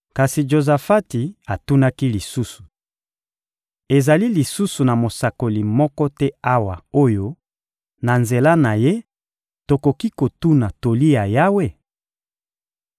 Kasi Jozafati atunaki lisusu: — Ezali lisusu na mosakoli moko te awa oyo, na nzela na ye, tokoki kotuna toli ya Yawe?